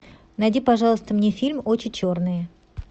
найди пожалуйста мне фильм очи черные